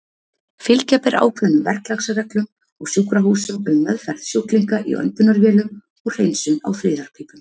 Fylgja ber ákveðnum verklagsreglum á sjúkrahúsum um meðferð sjúklinga í öndunarvélum og hreinsun á friðarpípum.